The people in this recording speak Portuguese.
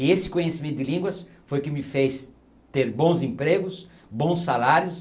E esse conhecimento de línguas foi o que me fez ter bons empregos, bons salários,